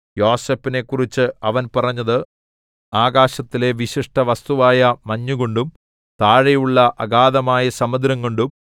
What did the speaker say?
യോസേഫിനെക്കുറിച്ച് അവൻ പറഞ്ഞത് ആകാശത്തിലെ വിശിഷ്ടവസ്തുവായ മഞ്ഞുകൊണ്ടും താഴെയുള്ള അഗാധമായ സമുദ്രം കൊണ്ടും